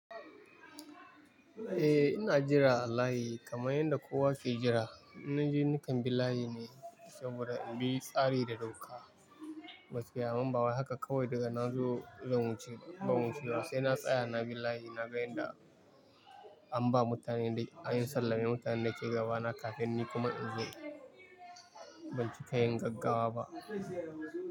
Eh ina jira a layi kamar yadda kowa ke jira. In naje nikan bi layi ne saboda inbi tsari da doka. Gaskiya amman ba wai haka kawai daga na zo ban wucewa. Sai na tsaya na bi layi na ga yanda an ba mutanen da an sallami mutanen da ke gaba na kafin ni kuma in zo. Ban ci ka yin gaggawa ba.